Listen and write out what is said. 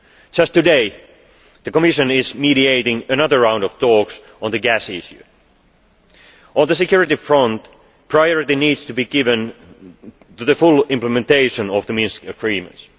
energy. Just today, the Commission is mediating another round of talks on the gas issue. On the security front, priority needs to be given to full implementation of the Minsk Agreements.